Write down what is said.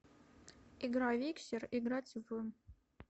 игра виксер играть в